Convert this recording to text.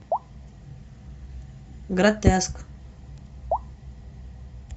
гратеск